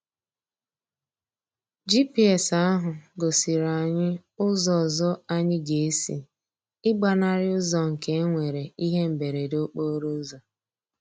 GPS ahụ gosiri anyị ụzọ ọzọ anyị ga-esi ịgbanarị ụzọ nke e nwere ihe mberede okporo ụzọ.